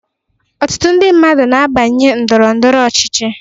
Ọtụtụ ndị mmadụ n'abanye Ndọrọ ndọrọ ọchịchị.